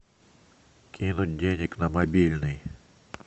кинуть денег на мобильный